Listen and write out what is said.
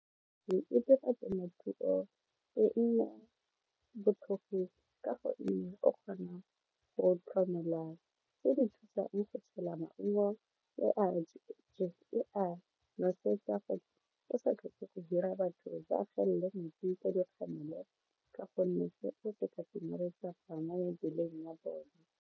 E dira temothuo e nne botlhofo ka gonne o kgona go tlhomela tse di thusang go tshela maungo le a nosetsa go sa tlhoke go hira batho ba gelele metsi ka dikgamelo ka gonne mebeleng ya bone.